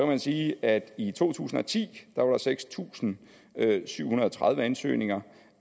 man sige at i to tusind og ti var der seks tusind syv hundrede og tredive ansøgninger